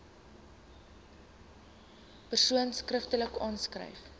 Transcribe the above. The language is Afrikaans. persoon skriftelik aanskryf